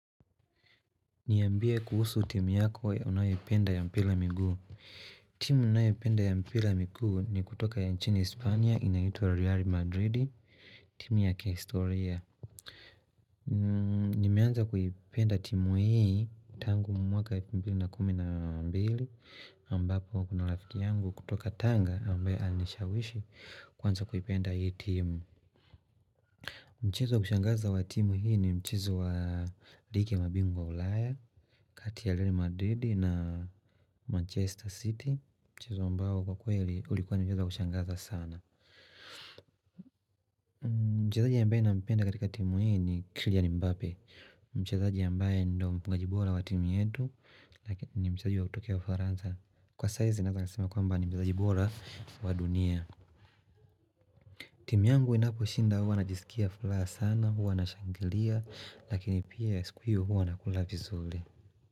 Niambia kuhusu timu yako unayoipenda ya mpira migiu. Timu ninayopenda ya mpira miguu ni kutoka ya nchini uhispania inaitwa Real Madrid, timu ya kihistoria. Nimeanza kuipenda timu hii tangu mwaka elfu mbili na kumi na mbili ambapo kuna rafiki yangu kutoka tanga ambaye alinishawishi kuanza kuipenda hii timu. Mchezo wa kushangaza wa timu hii ni mchezo wa ligi ya mabingwa wa ulaya, kati Real Madidi na Manchester City Mchezo ambao kwa kweli ulikuwa ni mchezo wa kushangaza sana Mchazaji ambaye nampenda katika timu hui ni kyllian mbbape timu yangu inaposhinda huwa najisikia furaha sana, huwa nashangilia, lakini pia siku hiyo huwa nakula vizuri.